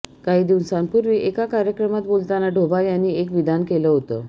काही दिवसांपूर्वी एका कार्यक्रमात बोलताना डोभाल यांनी एक विधान केलं होतं